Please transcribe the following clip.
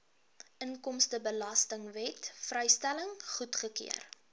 inkomstebelastingwet vrystelling goedgekeur